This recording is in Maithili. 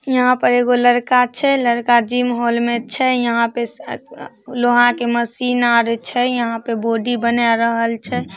यहां पर लड़का छै लड़का जिम हॉल में छै यहाँ पे से लोहा के मशीन आर छै यहाँ पे बॉडी बनाय रहल छै।